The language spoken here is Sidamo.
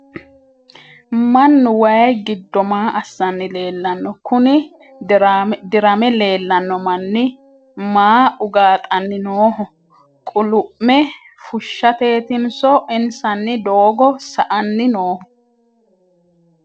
mannu wayii giddo maa assanni leellanno? kuni dirame leellanno mannni maa ugaaxanni nooho? qulu'me fushshateetinso insanni doogo sa''ani nooho ?